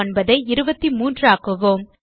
49 ஐ 23 ஆக்குவோம்